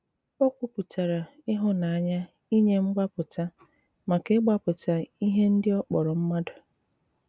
Ó kwùpùtàrà ìhụ̀nànyà ìnye mgbàpùtà màkà ịgbàpùtà íhè ndị ọ kpọrọ mmàdụ̀.